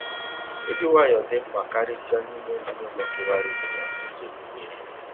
Ịdị nwayọọ dị mkpa karịsịa n’ime ezinụlọ kewara ekewa n’ụzọ okpukpere.